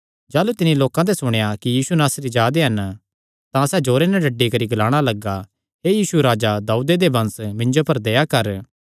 सैह़ एह़ सुणी नैं कि यीशु नासरी हन डड्डीडड्डी नैं ग्लाणा लग्गा हे राजा दाऊदे दे वंश यीशु मिन्जो पर दया कर